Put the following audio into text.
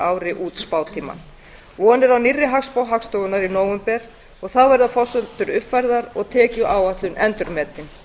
ári út spátímann von er á nýrri hagspá hagstofunnar í nóvember og þá verða forsendurnar uppfærðar og tekjuáætlun endurmetin